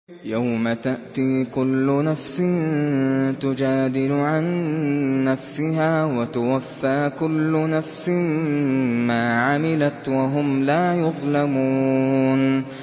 ۞ يَوْمَ تَأْتِي كُلُّ نَفْسٍ تُجَادِلُ عَن نَّفْسِهَا وَتُوَفَّىٰ كُلُّ نَفْسٍ مَّا عَمِلَتْ وَهُمْ لَا يُظْلَمُونَ